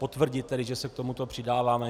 Potvrdit, že se k tomuto přidáváme.